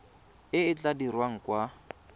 e e tla dirwang kwa